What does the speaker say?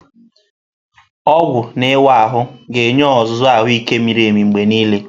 Ọgwụ na ịwa ahụ ga-enye ọzụzụ ahụike miri emi mgbe niile.